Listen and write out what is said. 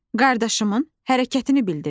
Qardaşımın hərəkətini bildirir.